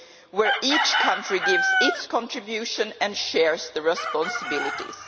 where each country gives its contribution and shares the responsibilities.